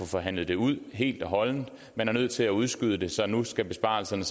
forhandlet ud helt og holdent man er nødt til at udskyde det så nu skal besparelserne